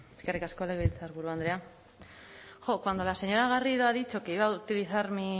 eskerrik asko legebiltzarburu andrea jo cuando la señora garrido ha dicho que iba a utilizar